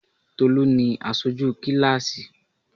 Tolú ni Asoju kíláásì